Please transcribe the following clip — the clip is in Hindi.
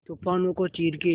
तूफानों को चीर के